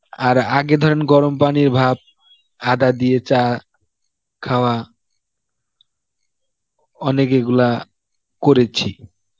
আর আগে ধরেন গরম পানির ভাপ, আদা দিয়ে চা খাওয়া অনেক এগুলা করেছি